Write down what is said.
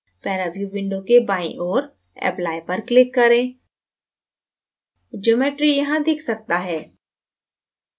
paraview window के बाईं ओर apply पर click करें geometry यहाँ दिख सकता है